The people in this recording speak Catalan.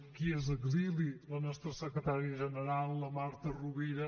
qui és a exili la nostra secretària general la marta rovira